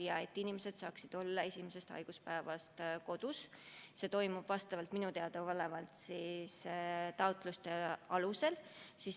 See, et inimesed saavad hüvitist esimesest haiguspäevast alates, toimub minule teadaolevalt taotluste alusel.